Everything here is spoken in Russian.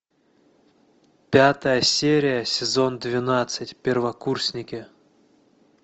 пятая серия сезон двенадцать первокурсники